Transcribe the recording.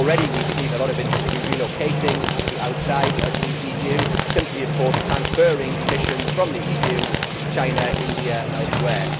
Already we have seen a lot of industry relocating to outside the EU, simply, of course, transferring emissions from the EU to China, India and elsewhere.